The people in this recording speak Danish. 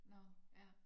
Nåh ja